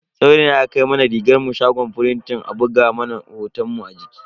Saurayina ya kai mana rigarmu shagon firintin a buga mana hotonmu a jiki.